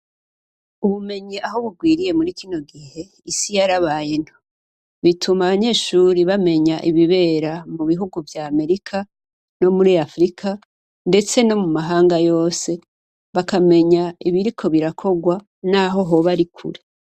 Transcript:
Ubumenyi aho bugwiriye muri kino gihe isi yarabaye nto bituma abanyeshuri bamenya ibibera mu bihugu vya merika no muri afrika, ndetse no mu mahanga yose bakamenya ibiriko birakorwa, naho hoba ari kure.